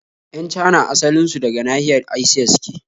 Yan Cana asalin su daga nahiyar Asiya suke